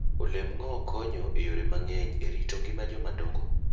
Olemb ng'owo konyo e yore mang'eny e rito ngima joma dongo.